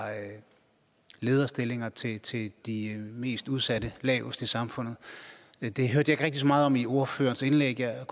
lederstillinger til til de mest udsatte lavest i samfundet det hørte jeg ikke rigtig så meget om i ordførerens indlæg jeg